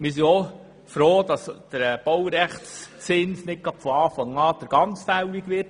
Wir sind froh, dass nicht von Anfang an der ganze Baurechtszins fällig wird.